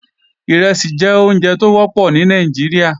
Ìrẹsì jẹ́ oúnjẹ tó wọ́pọ̀ ní Nàìjíríà